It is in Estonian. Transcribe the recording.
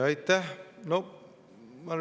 Aitäh!